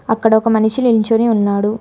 అక్కడ ఒక మనిషి నిల్చొని ఉన్నాడు.